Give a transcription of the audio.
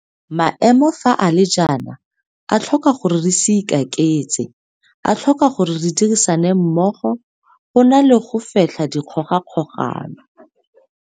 Maemo fa a le jaana a tlhoka gore re se ikaketse. A tlhoka gore re dirisane mmogo, go na le go fetlha dikgogakgogano.